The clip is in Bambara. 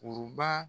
Kuruba